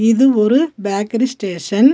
இது ஒரு bakery station .